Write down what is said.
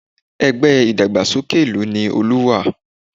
Ẹgbẹ́ ìdàgbàsókè ìlú ni Olú wà